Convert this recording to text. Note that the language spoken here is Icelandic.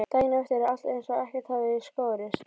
Daginn eftir er alltaf eins og ekkert hafi í skorist.